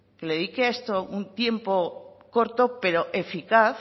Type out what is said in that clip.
que le dedique a esto un tiempo corto pero eficaz